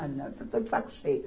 Ah, não, que eu estou de saco cheio.